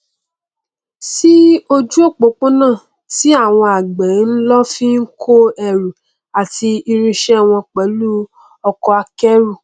sí ojú opopona tí àwọn àgbẹ n lò fi kó ẹrù àti irinṣẹ wọn pẹlú ọkọ akẹrù